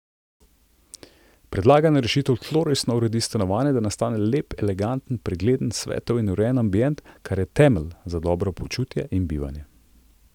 Predlagana rešitev tlorisno uredi stanovanje, da nastane lep, eleganten, pregleden, svetel in urejen ambient, kar je temelj za dobro počutje in bivanje.